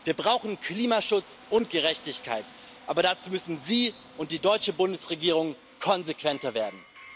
Wir brauchen Klimaschutz und Gerechtigkeit, aber dazu müssen Sie und die deutsche Bundesregierung konsequenter werden.